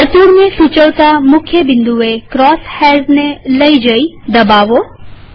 વર્તુળને સૂચવતા મુખ્ય બિંદુએ ક્રોસ હૈર્સને લઇ જઈ અને દબાવો